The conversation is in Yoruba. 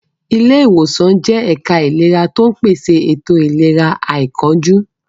Ilé ìwòsàn jẹ́ ẹ̀ka ìlera tó ń pèsè ètò ìlera àìkánjú.